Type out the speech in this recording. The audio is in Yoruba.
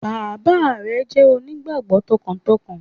Bàbá re jẹ́ onígbàgbó tọkàntọkàn